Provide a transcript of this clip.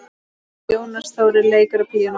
Jónas Þórir leikur á píanó.